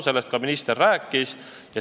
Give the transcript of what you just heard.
Sellest minister ka rääkis.